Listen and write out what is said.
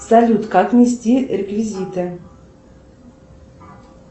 салют как внести реквизиты